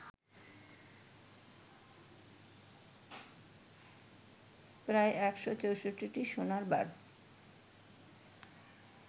প্রায় ১৬৪টি সোনার বার